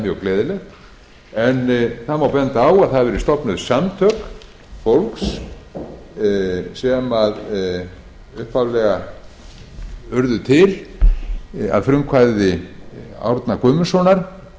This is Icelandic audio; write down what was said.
núna upp á síðkastið sem er mjög gleðilegt benda má á að samtök fólks hafa verið stofnuð um þetta upphaflega að frumkvæði árna guðmundssonar